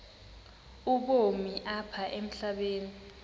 ubomi apha emhlabeni